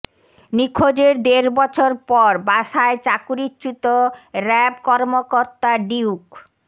নিখোঁজের দেড় বছর পর বাসায় চাকরিচ্যুত র্যাব কর্মকর্তা ডিউক